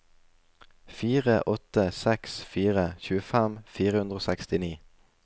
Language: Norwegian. fire åtte seks fire tjuefem fire hundre og sekstini